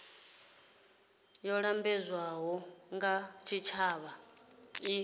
yo lambedzwaho nga tshitshavha i